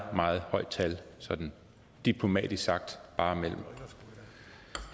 meget højt tal sådan diplomatisk sagt bare mellem